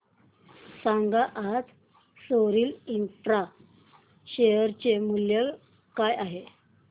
सांगा आज सोरिल इंफ्रा शेअर चे मूल्य काय आहे